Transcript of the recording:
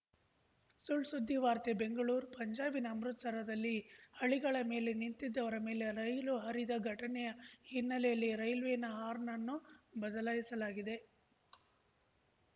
ಸುಳ್‌ಸುದ್ದಿ ವಾರ್ತೆ ಬೆಂಗಳೂರು ಪಂಜಾಬಿನ ಅಮೃತಸರದಲ್ಲಿ ಹಳಿಗಳ ಮೇಲೆ ನಿಂತಿದ್ದವರ ಮೇಲೆ ರೈಲು ಹರಿದ ಘಟನೆಯ ಹಿನ್ನೆಲೆಯಲ್ಲಿ ರೈಲ್ವೆನ ಹಾರ್ನ್‌ ಅನ್ನು ಬದಲಾಯಿಸಲಾಗಿದೆ